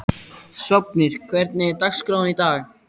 Sváfnir, hvernig er dagskráin í dag?